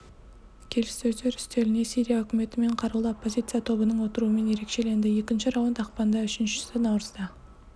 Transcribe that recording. келіссөздер үстеліне сирия үкіметі мен қарулы оппозиция тобының отыруымен ерекшеленді екінші раунд ақпанда үшіншісі наурызда